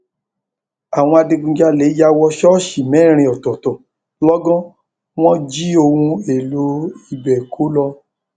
àwọn adigunjalè yà wọ ṣọọṣì mẹrin ọtọọtọ lọgọn wọn jí ohun èèlò ibẹ kó lọ